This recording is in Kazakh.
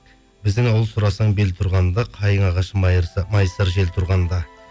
біздің ауыл сұрасаң бел тұрғанда қайын ағашы майысар жел тұрғанда